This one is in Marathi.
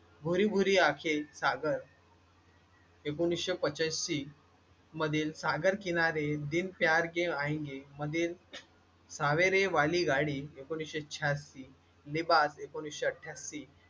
भूरी भूरी आंखें सागर एकोणीसशे पंचांशी मधील सागर किनारे दिन प्यार के आएंगे मदिर सवेरे वाली गाडी एक एकोणीसशे श्यांषी नेपाल ऐकोनिसशे अट्ट्यांशी